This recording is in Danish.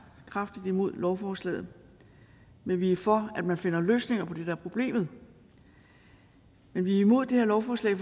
kraftigt imod lovforslaget men vi er for at man finder løsninger på det der er problemet vi er imod det her lovforslag